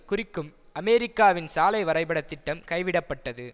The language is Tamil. குறிக்கும் அமெரிக்காவின் சாலை வரைபடத் திட்டம் கைவிடப்பட்டது